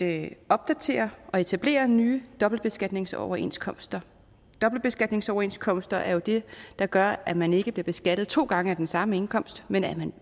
at opdatere og etablere nye dobbeltbeskatningsoverenskomster dobbeltbeskatningsoverenskomster er jo det der gør at man ikke bliver beskattet to gange af den samme indkomst men at